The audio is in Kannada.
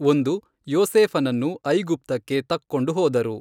ಒಂದು, ಯೋಸೇಫನನ್ನು ಐಗುಪ್ತಕ್ಕೆ ತಕ್ಕೊಂಡು ಹೋದರು.